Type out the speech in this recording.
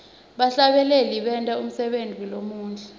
bahlabeleli benta umsebenti lomuhle